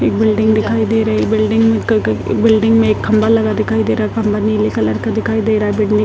एक बिल्डिंग दिखाई दे रही है ये बिल्डिंग में क क बिल्डिंग में एक खम्बा लगा दिखाई दे रहा है खम्बा नीले कलर का दिखाई दे रहा है बिल्डिंग --